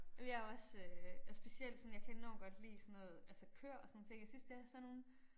Ej men jeg også øh og specielt sådan jeg kan enormt godt lide sådan noget altså køer og sådan nogle ting jeg synes de er sådan nogle